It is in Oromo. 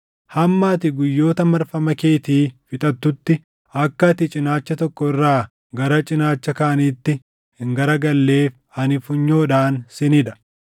Hamma ati guyyoota marfama keetii fixattutti akka ati cinaacha tokko irraa gara cinaacha kaaniitti hin garagalleef ani funyoodhaan sin hidha.